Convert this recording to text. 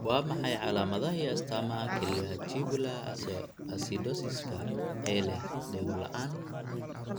Waa maxay calaamadaha iyo astaamaha kelyaha tubular acidosiska ee leh dhego-la'aan?